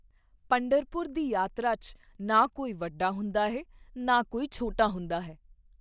ਪੰਢਰਪੁਰ ਦੀ ਯਾਤਰਾ 'ਚ ਨਾ ਕੋਈ ਵੱਡਾ ਹੁੰਦਾ ਹੈ, ਨਾ ਕੋਈ ਛੋਟਾ ਹੁੰਦਾ ਹੈ।